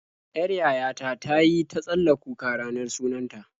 Yar yaya ta ta yi ta tsalla kuka ranar sunan ta.